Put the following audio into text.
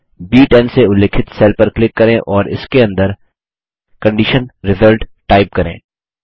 ब10 से उल्लिखित सेल पर क्लिक करें और इसके अंदर कंडीशन रिजल्ट टाइप करें